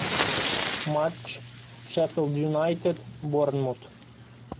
матч шеффилд юнайтед борнмут